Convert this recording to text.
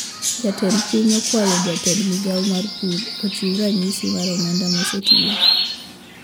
Jatend piny okwayo jatend migao mar pur ochiu ranyisi mar omenda mosetiyo